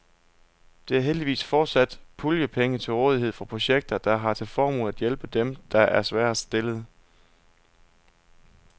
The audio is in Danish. Der er heldigvis fortsat puljepenge til rådighed for projekter, der har til formål at hjælpe dem, der er sværest stillede.